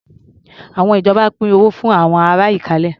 Àwọn ìjọba pín owó fún àwọn ará Ìkálẹ̀.